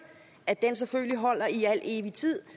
at den selvfølgelig holder i al evig tid